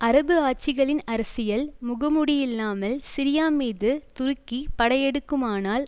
அரபு ஆட்சிகளின் அரசியல் முகமுடியில்லாமல் சிரியா மீது துருக்கி படையெடுக்குமானால்